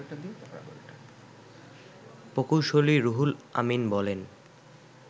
প্রকৌশলী রুহুল আমিন বলেন